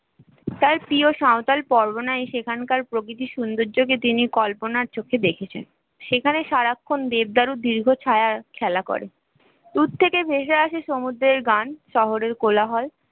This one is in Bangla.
তার প্রিয় সাঁওতাল বরগুনায় সেখানকার প্রকৃতির সৌন্দর্য কে তিনি কল্পনার চোখে দেখেছে সেখানে সারাক্ষণ দীর্ঘ ছায়া খেলা করে দূর থেকে ভেসে আসে সমুদ্রের গান শহরের কোলাহল